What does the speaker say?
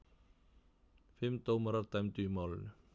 Fimm dómarar dæmdu í málinu.